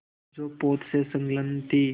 जो पोत से संलग्न थी